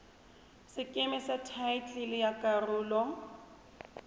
sekeme sa thaetlele ya karolo